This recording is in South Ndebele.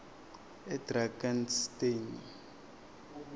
edrakansteni